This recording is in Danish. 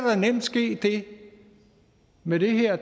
ske det med det her